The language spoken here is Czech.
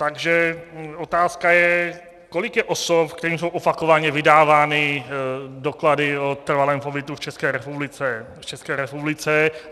Takže otázka je: Kolik je osob, kterým jsou opakovaně vydávány doklady o trvalém pobytu v České republice?